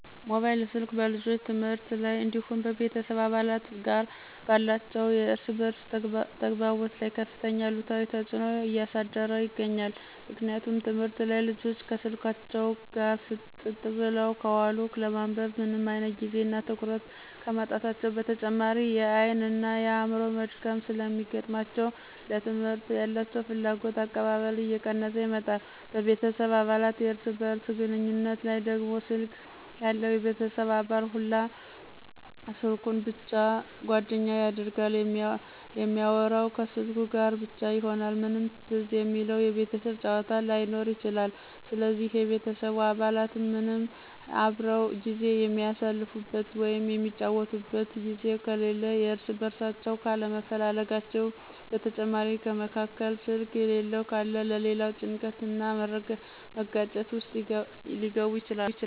ሞባይል ስልክ በልጆች ትምህርት ላይ እንዲሁም በቤተሰብ አባላት ጋር ባላቸው የእርስ በእርስ ተግባቦት ላይ ከፍተኛ አሉታዊ ተጽዕኖ እያሳደረ ይገኛል። ምክንያቱም ትምህርት ላይ ልጆች ከስልካቸው ጋር ፍጥጥ ብለው ከዋሉ ለማንበብ ምንም አይነት ጊዜ እና ትኩረት ከማጣታቸው በተጨማሪ የአይን እና የአዕምሮ መድከም ስለሚገጥማቸው ለትምህርት ያላቸው ፍላጎትና አቀባበል እየቀነሰ ይመጣል፤ በቤተሰብ አባላት የእርስ በእርስ ግንኙነት ላይ ደግሞ ስልክ ያለው የቤተሰብ አባል ሁላ ስልኩን ብቻ ጓደኛ ያደርጋል እሚአወራው ከስልኩ ጋር ብቻ ይሆናል ምንም ትዝ የሚለው የቤተሰብ ጫዎታ ላይኖር ይችላል ስለዚህ የቤተሰቡ አባላት ምንም አብረው ጊዜ የሚአሳልፉበት ወይም የሚጫወቱበት ጊዜ ከሌለ እርስ በእርሳቸው ካለመፈላለጋቸው በተጨማሪ ከመካከል ስልክ የሌለው ካለ ለሌላ ጭንቀት እና መጋጨት ውስጥ ሊገቡ ይችላሉ።